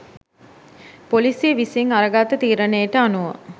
පොලීසිය විසින් අර ගත්ත තීරනේට අනුව